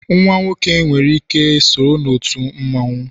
nwa nwoke nwere ike so na otu mmanwu